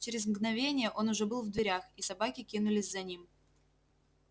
через мгновение он уже был в дверях и собаки кинулись за ним